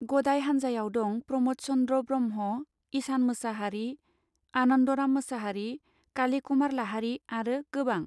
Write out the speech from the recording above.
गदाय हानजायाव दं प्रमद चन्द्र ब्रह्मा ईसान मोसाहारी आनन्दराम मोसाहारी काली कुमार लाहारी आरो गोबां.